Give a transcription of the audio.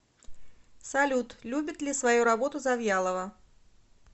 салют любит ли свою работу завьялова